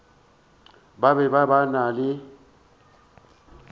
ba be ba na le